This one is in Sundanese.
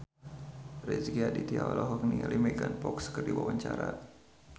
Rezky Aditya olohok ningali Megan Fox keur diwawancara